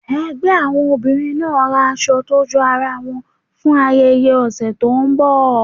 ẹgbẹ àwọn obìrin naa ra aṣọ to jọ aràn won fún ayẹyẹ òsé tó n bò.